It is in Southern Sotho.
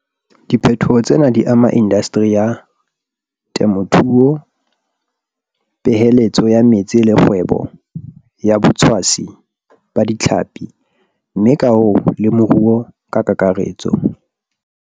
Diphetoho tsena di ama indaseteri ya temothuo, peeheletso ya metsi le kgwebo ya botshwasi ba ditlhapi mme ka hoo le moruo ka kakaretso.